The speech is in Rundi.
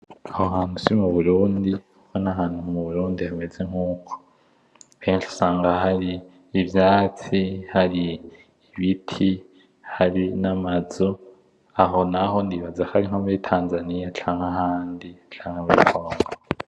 Aho hantu si muburundi kuko ntahantu muburundi hameze nkuko ,henshi usanga hari ivyatsi , hari ibiti hari namazu aho naho nibaza ko ari nko muri Tanzania canke ahandi canke muri Congo .